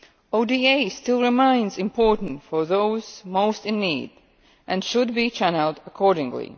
ODA still remains important for those most in need, and should be channelled accordingly.